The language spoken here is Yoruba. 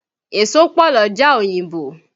Èso pọ̀ l'ọ́jà òyìnbò